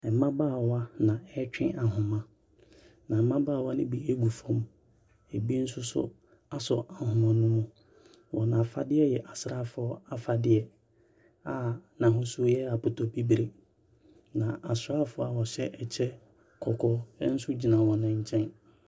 Mmabaawa na wɔretwe ahoma, na mmabaawa no bi gu fam. Ɛbi nsos so asɔ ahoma no mu. Wɔn afadeɛ yɛ asraafoɔ afadeɛ a n'ahosuo yɛ apotobibire. Na asraafoɔ a wɔhyɛ ɛkyɛ kɔkɔɔ nso gyina wɔn nkyɛn.